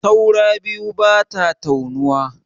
Taura biyu bata taunuwa.